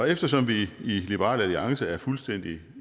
eftersom vi i liberal alliance er fuldstændig